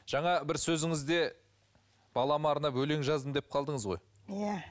жаңа бір сөзіңізде балама арнап өлең жаздым деп қалдыңыз ғой иә